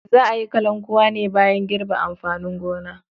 Za a yi kalankuwa ne bayan girbe amfanin gona.